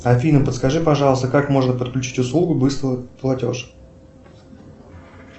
афина подскажи пожалуйста как можно подключить услугу быстрый платеж